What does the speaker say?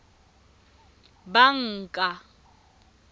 banka